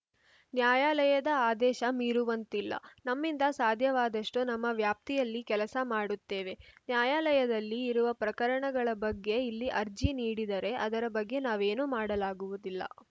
ನ್ಯಾಯಾಲಯದ ಆದೇಶ ಮೀರುವಂತಿಲ್ಲ ನಮ್ಮಿಂದ ಸಾಧ್ಯವಾದಷ್ಟುನಮ್ಮ ವ್ಯಾಪ್ತಿಯಲ್ಲಿ ಕೆಲಸ ಮಾಡುತ್ತೇವೆ ನ್ಯಾಯಾಲಯದಲ್ಲಿ ಇರುವ ಪ್ರಕರಣಗಳ ಬಗ್ಗೆ ಇಲ್ಲಿ ಅರ್ಜಿ ನೀಡಿದರೆ ಅದರ ಬಗ್ಗೆ ನಾವೇನು ಮಾಡಲಾಗುವುದಿಲ್ಲ